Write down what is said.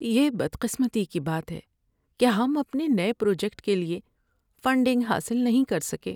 یہ بدقسمتی کی بات ہے کہ ہم اپنے نئے پروجیکٹ کے لیے فنڈنگ حاصل نہیں کر سکے۔